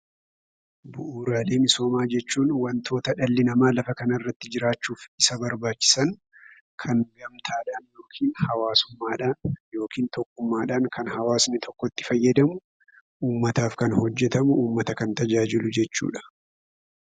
Bu'uuraalee misoomaa jechuun wantoota dhalli namaa lafa kanarratti jiraachuuf isa barbaachisan kan gamtaadhaan yookin hawaasummaadhan yookin tokkummaadhaan kan hawaasni tokko itti fayyadamu uummataaf kan hojjetamu, uummata kan tajaajilu jechuudha.